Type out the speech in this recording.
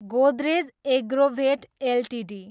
Godrej agrovet Ltd